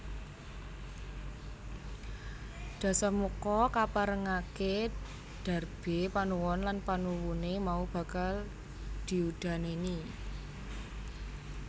Dasamuka kaparengaké darbé panuwun lan panuwuné mau bakal diudanèni